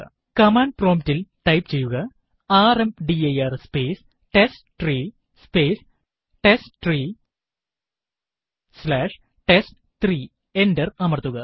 command prompt ല് type ചെയ്യുക rmdir space test three space test three slash test three enter അമർത്തുക